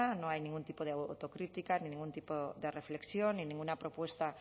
no hay ningún tipo de autocrítica ningún tipo de reflexión ni ninguna propuesta